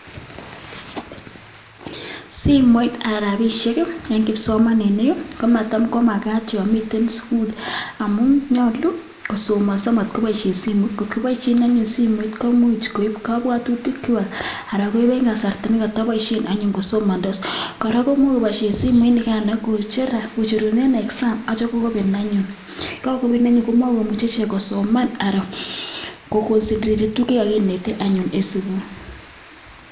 Simoit anan rabisiek en kipsomaninik komagat yomiten sugul amuun, nyalu kosomaso matkobaisien simoit , simoit komuch koib kabuatutik kwak anan koiben kasarta nekataboisien kosomandos . Kora komuche kobaishien simoit nikaan kobaisien exam yekakopen komago muche kosoman , anan ko concentrate